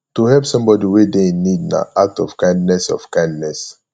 to help somebody wey de in need na act of kindness of kindness